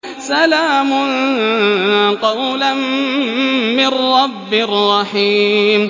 سَلَامٌ قَوْلًا مِّن رَّبٍّ رَّحِيمٍ